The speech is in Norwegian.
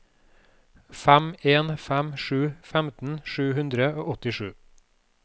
fem en fem sju femten sju hundre og åttisju